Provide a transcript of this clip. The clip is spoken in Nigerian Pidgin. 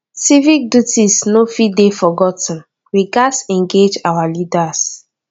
civic duties no fit dey forgot ten we gatz engage with our leaders